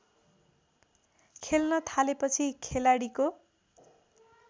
खेल्न थालेपछि खेलाडीको